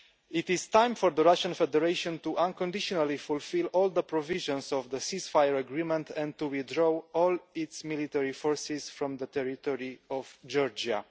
It is time for the Russian Federation to unconditionally fulfil all the provisions of the cease fire agreement and to withdraw all its military forces from the territory of Georgia.